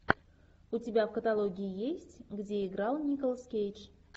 у тебя в каталоге есть где играл николас кейдж